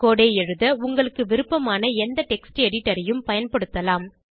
கோடு ஐ எழுத உங்களுக்கு விருப்பமான எந்த டெக்ஸ்ட் எடிட்டரையும் பயன்படுத்தலாம்